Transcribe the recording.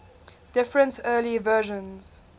different early versions